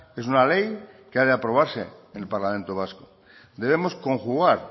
es una ley que ha de aprobarse en el parlamento vasco debemos conjugar